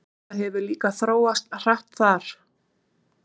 Þetta líka hefur þróast hratt þar?